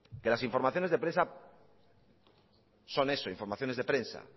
que las informaciones de prensa son eso informaciones de prensa